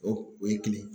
O o ye kile